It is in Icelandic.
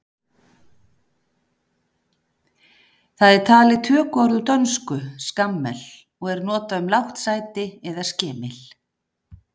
Það er talið tökuorð úr dönsku skammel og er notað um lágt sæti eða skemil.